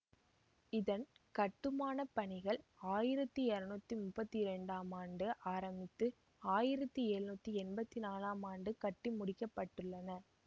இதன் கட்டுமான பணிகள் ஆயிரத்தி இருநூற்றி முப்பத்தி இரண்டாம் ஆண்டு ஆரம்பித்து ஆயிரத்தி எழுநூற்றி எம்பத்தி நாலாம் ஆம் ஆண்டு கட்டிமுடிக்கப்பட்டுள்ளன